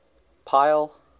pile